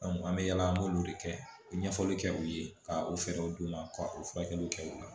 an bɛ yaala an b'olu de kɛ u bɛ ɲɛfɔli kɛ u ye ka u fɛɛrɛw d'u ma ka o furakɛliw kɛ u la